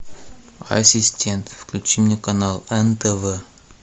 ассистент включи мне канал нтв